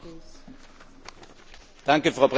Frau Präsidentin, Hohe Beauftragte!